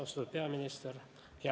Austatud peaminister!